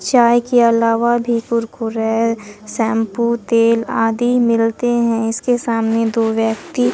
चाय के अलावा भी कुरकुरे शैंपू तेल आदि मिलते हैं इसके सामने दो व्यक्ति--